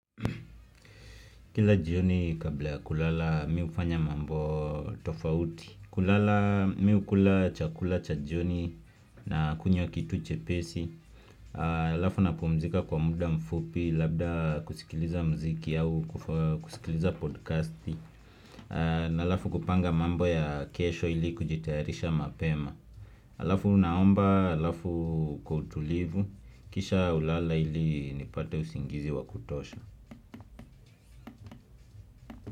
Kila jioni kabla ya kulala mimi hufanya mambo tofauti kulala mimi hukula chakula cha jioni na kunywa kitu chepesi Alafu napumzika kwa muda mfupi labda kusikiliza muziki au kusikiliza podcasti na alafu kupanga mambo ya kesho ili kujitayarisha mapema Alafu naomba, alafu kwautulivu, kisha hulala ili nipate usingizi wakutosha.